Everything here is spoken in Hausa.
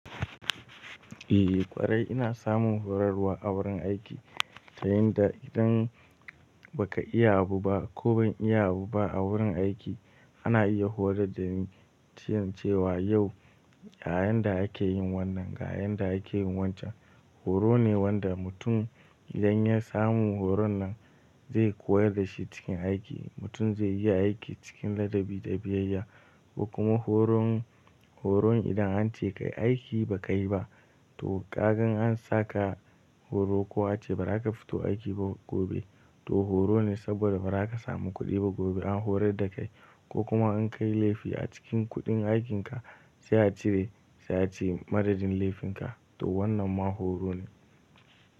Eh ƙwarai ina samun horarwa a wurin aiki, ta yanda idan baka iya abu ba ko ban iya abu ba a wurin aiki ana iya horar da ni cewa yau a yan da ake yin wannan ga yan da ake yin wancan. Horo ne wanda mutum idan ya samu horon nan zai koyar dashi cikin aiki. Mutum zai iya aiki cikin ladabi da biyayya. Ko kuma horon, horon idan an ce ka yi aiki ba ka yi ba to kan gan an saka horo ko an ce bari ka fito aiki ba gobe to horo ne saboda bara ka samu kuɗi ba gobe an horar da kai. Ko kuma an kai laifi a cikin kuɗin aikinka sai a cire sai a ce madadin laifinka to wannan ma horo ne.